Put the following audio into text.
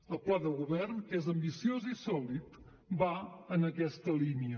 el pla de govern que és ambiciós i sòlid va en aquesta línia